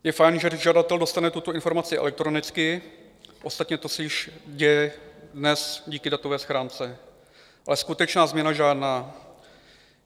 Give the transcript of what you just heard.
Je fajn, že žadatel dostane tuto informaci elektronicky, ostatně to se již děje dnes díky datové schránce, ale skutečná změna žádná.